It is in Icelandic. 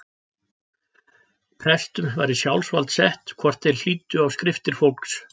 Prestum var í sjálfsvald sett hvort þeir hlýddu á skriftir fólks.